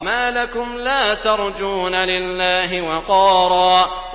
مَّا لَكُمْ لَا تَرْجُونَ لِلَّهِ وَقَارًا